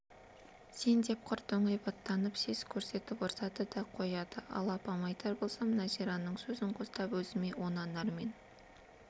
сен деп құр доңайбаттанып сес көрсетіп ұрсады да қояды ал апама айтар болсам нәзираның сөзін қостап өзімді онан әрмен